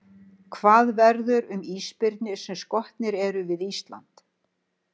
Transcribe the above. Hvað verður um ísbirni sem skotnir eru við Ísland?